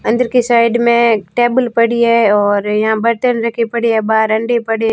अंदर की साइड में टेबल पड़ी है और यहां बर्तन रखे पड़े हैं बाहर अंडे पड़े--